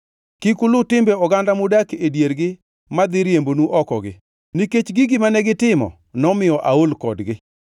Kik uluw timbe oganda mudak e diergi madhi riembonu oko-gi. Nikech gigi mane gitimo nomiyo aol kodgi.